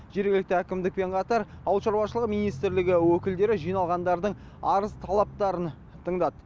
жергілікті әкімдікпен қатар ауыл шаруашылығы министрлігі өкілдері жиналғандардың арыз талаптарын тыңдады